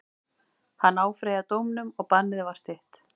Hann áfrýjaði dómnum og bannið var stytt.